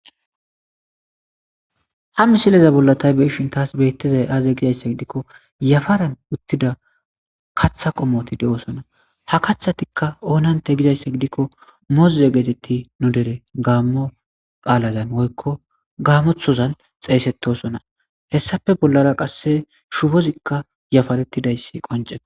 ha misileza bollatay beishin taas bettizay aaze gizayssa gidikko yafaran uttida katha qomoti de7osona ha kaththatikka oonante gizayssa gidikko moze geetetti nu dere gaammo qaalazan woykko gaamothozan xeeysetosona hessafe bollara qasse shufozikka yafarettidayssi qoncee